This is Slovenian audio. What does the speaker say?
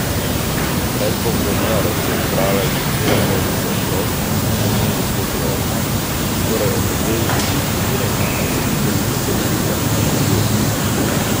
Pred bomboniero se je zbrala že cela množica otrok, ki so strmeli skozi okno in bi skoraj omedleli od vznemirjenja, ko so videli, kako Pika nakupuje.